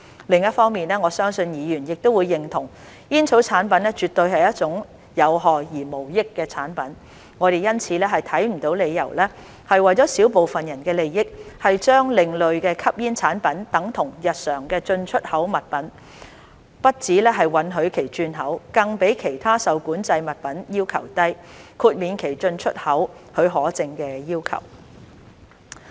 另一方面，我相信議員亦會認同，煙草產品絕對是一種有害而無益的產品，我們因此看不到理由為了小部分人的利益，將另類吸煙產品等同日常進出口物品，不只允許其轉口，更比其他受管制物品要求低，豁免其進出口許可證的要求。